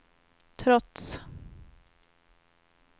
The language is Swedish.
trots